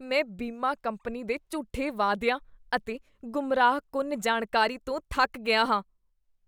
ਮੈਂ ਬੀਮਾ ਕੰਪਨੀ ਦੇ ਝੂਠੇ ਵਾਅਦੀਆਂ ਅਤੇ ਗੁੰਮਰਾਹਕੁੰਨ ਜਾਣਕਾਰੀ ਤੋਂ ਥੱਕ ਗਿਆ ਹਾਂ।